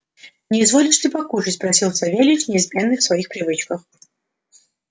не изволишь ли покушать спросил савельич неизменный в своих привычках